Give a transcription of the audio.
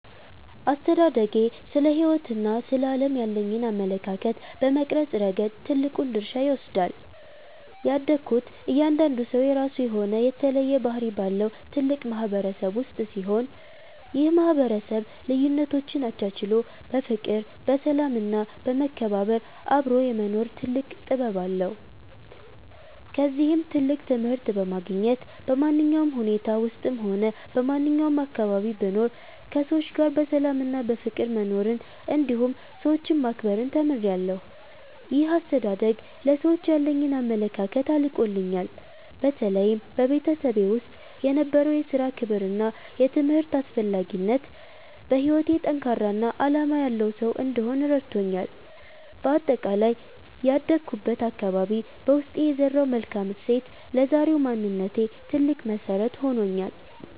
አስተዳደጌ ስለ ሕይወትና ስለ ዓለም ያለኝን አመለካከት በመቅረጽ ረገድ ትልቁን ድርሻ ይወስዳል። ያደግኩት እያንዳንዱ ሰው የራሱ የሆነ የተለየ ባህሪ ባለው ትልቅ ማህበረሰብ ውስጥ ሲሆን፣ ይህ ማህበረሰብ ልዩነቶችን አቻችሎ በፍቅር፣ በሰላም እና በመከባበር አብሮ የመኖር ትልቅ ጥበብ አለው። ከዚህም ትልቅ ትምህርት በማግኘት፣ በማንኛውም ሁኔታ ውስጥም ሆነ በማንኛውም አካባቢ ብኖር ከሰዎች ጋር በሰላምና በፍቅር መኖርን እንዲሁም ሰዎችን ማክበርን ተምሬያለሁ። ይህ አስተዳደግ ለሰዎች ያለኝን አመለካከት አርቆልኛል። በተለይም በቤተሰቤ ውስጥ የነበረው የሥራ ክብርና የትምህርት አስፈላጊነት፣ በሕይወቴ ጠንካራና ዓላማ ያለው ሰው እንድሆን ረድቶኛል። በአጠቃላይ ያደግኩበት አካባቢ በውስጤ የዘራው መልካም እሴት ለዛሬው ማንነቴ ትልቅ መሰረት ሆኖኛል።